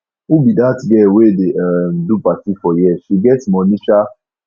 who be dat girl wey dey um do party for here she get money um